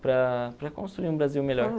para para construir um Brasil melhor.